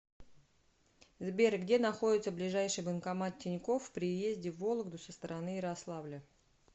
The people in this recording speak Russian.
сбер где находится ближайший банкомат тинькофф при въезде в вологду со стороны ярославля